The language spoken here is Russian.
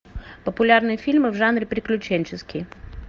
популярные фильмы в жанре приключенческий